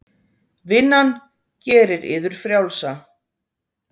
Vinnan gerir yður frjálsa.